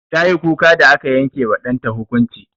Tayi kuka da aka yanke wa ɗanta hukunci.